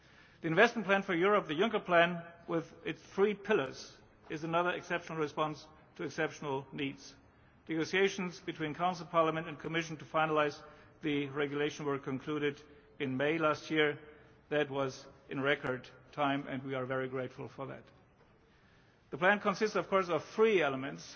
The Investment Plan for Europe, the Juncker Plan, with its three pillars, is another exceptional response to exceptional needs. Negotiations between the Council, Parliament and the Commission to finalise the regulation were concluded in May last year. That was in record time and we are very grateful for that. The Plan consists, of course, of three elements.